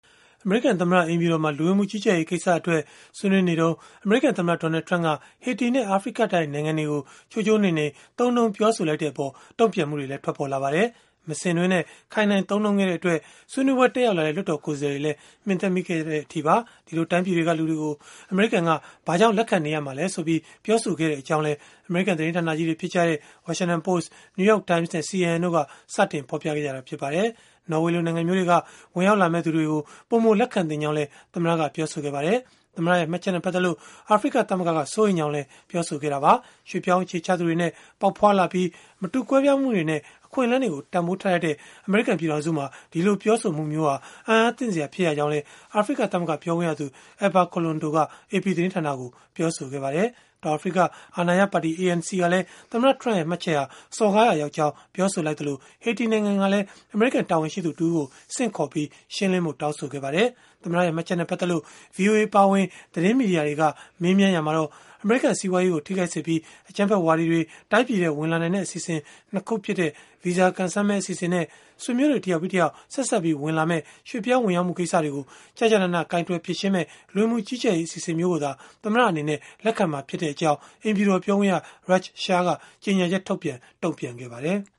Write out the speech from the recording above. အမေရိကန်သမ္မတ အိမ်ဖြူတော်မှာ လူဝင်မှုကြီးကြပ်ရေး ကိစ္စအတွက် ဆွေးနွေးနေစဉ် အမေရိကန် သမ္မတ Donald Trump က ဟေတီနဲ့ အာဖရိကတိုက် နိုင်ငံတွေကို ချိုးချိုးနှိမ်နှိမ် သုံးနှုန်းပြောဆိုလိုက်တဲ့အပေါ် တုံ့ပြန်မှုတွေ ထွက်ပေါ်လာပါတယ်။ မစင်တွင်းနဲ့ ခိုင်းနှိုင်း သုံးနှုန်းခဲ့တဲ့အတွက် ဆွေးနွေးပွဲ တက်ရောက်လာတဲ့ လွှတ်တော် ကိုယ်စားလှယ်တွေလည်း မှင်သက်မိခဲ့တဲ့ အထိပါ။ ဒီလိုတိုင်းပြည်တွေက လူတွေကို အမေရိကန်က ဘာကြောင့်လက်ခံနေရမှာလဲဆိုပြီး ပြောဆိုခဲ့ကြောင်းလည်း အမေရိကန် သတင်းဌာနကြီးတွေ ဖြစ်ကြတဲ့ Washington Post, New York Times နဲ့ CNN တို့က စတင်ဖော်ပြခဲ့ကြတာ ဖြစ်ပါတယ်။ နော်ဝေလို နိုင်ငံမျိုးတွေက ဝင်ရောက်လာမယ့် သူတွေကို ပိုမိုလက်ခံသင့်ကြောင်းလည်း ပြောဆိုခဲ့ပါတယ်။ သမ္မတရဲ့ မှတ်ချက်နဲ့ ပတ်သက်လို့ အာဖရိကသမဂ္ဂက စိုးရိမ်ကြောင်း ပြောဆိုလိုက်ပါတယ်။ ရွှေ့ပြောင်းအခြေချသူတွေနဲ့ ပေါက်ဖွားလာပြီး မတူကွဲပြားမှုတွေနဲ့ အခွင့်အလန်းတွေကို တန်ဘိုးထားတတ်တဲ့ အမေရိကန် ပြည်ထောင်စုမှာ ဒီလိုပြောဆိုတာဟာ အံ့အားသင့်စရာ ဖြစ်ရကြောင်းလည်း အာဖရိကသမဂ္ဂ ပြောခွင့်ရသူ Ebba Kalondo က AP သတင်းဌာနကိုပြောဆိုခဲ့တာပါ။ တောင်အာဖရိက အာဏာရပါတီ ANC ကလည်း သမ္မတ Trump ရဲ့ မှတ်ချက်ဟာ စော်ကားရာ ရောက်ကြောင်း ပြောဆိုခဲ့သလို၊ ဟေတီနိုင်ငံကလည်း အမေရိကန် တာဝန်ရှိသူ တဦးကို ဆင့်ခေါ်ပြီး ရှင်းလင်းဖို့ တောင်းဆိုခဲ့ပါတယ်။ သမ္မတရဲ့ မှတ်ချက်နဲ့ ပတ်သက်လို့ ဗွီအိုအေ အပါအဝင် သတင်းမီဒီယာတွေက မေးမြန်းရာမှာတော့ အမေရိကန် စီးပွားရေးကို ထိခိုက်စေပြီး၊ အကြမ်းဖက်ဝါဒီတွေ တိုင်းပြည်ထဲ ဝင်လာနိုင်တဲ့ အစီအစဉ် ၂ ခုဖြစ်တဲ့ ဗီဇာကံစမ်းမဲ အစီအစဉ်နဲ့ ဆွေမျိုးတွေ တယောက်ပြီးတယောက် ဆက်စပ်ပြီး ဝင်လာမယ့် ရွှေ့ပြောင်းဝင်ရောက်မှု ကိစ္စတွေကို ကျကျနန ကိုင်တွယ်မယ့် လူဝင်မှုကြီးကြပ်ရေး အစီအစဉ်မျိုးကိုသာ သမ္မတအနေနဲ့ လက်ခံမှာ ဖြစ်ကြောင်း အိမ်ဖြူတော် ပြောခွင့်ရ Raj Shah က ကြေညာချက်ထုတ်ပြန် တုံ့ပြန်ခဲ့ပါတယ်။